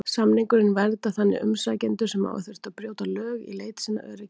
Samningurinn verndar þannig umsækjendur sem hafa þurft að brjóta lög í leit sinni að öryggi.